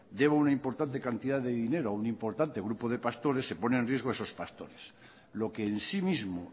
deba una importante cantidad de dinero a un importante grupo de pastores se pone en riesgo esos pastores lo que en sí mismo